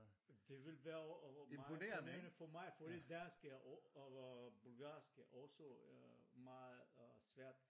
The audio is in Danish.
Det ville være meget imponerende for mig fordi dansk er og bulgarsk er også meget øh svært